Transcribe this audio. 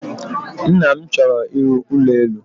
Nna m chọrọ ịrụ ụlọelu.